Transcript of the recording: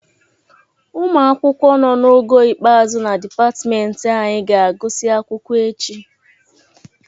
Ụmụ akwụkwọ nọ n'ogo ikpeazụ na dịpatịmentị anyị ga-agụsị akwụkwọ echi.